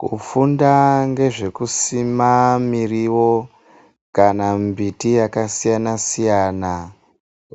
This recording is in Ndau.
Kufunda ngezvekusima miriwo kana mbiti yakasiyanasiyana